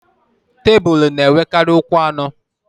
Tebulu na-enwekarị ụkwụ anọ.